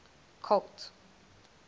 colt